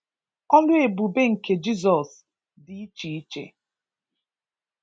Ọlụ ebube nke Jizọs dị iche iche